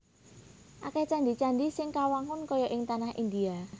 Akèh candhi candhi sing kawangun kaya ing tanah Indhia